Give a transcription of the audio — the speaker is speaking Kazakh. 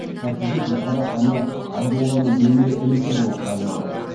шахи бек бұқара ханы абдолланың немере інісі болып табылады